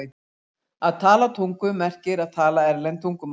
Að tala tungum merkir að tala erlend tungumál.